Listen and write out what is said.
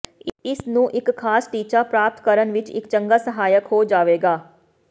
ਇਸ ਨੂੰ ਇੱਕ ਖਾਸ ਟੀਚਾ ਪ੍ਰਾਪਤ ਕਰਨ ਵਿਚ ਇੱਕ ਚੰਗਾ ਸਹਾਇਕ ਹੋ ਜਾਵੇਗਾ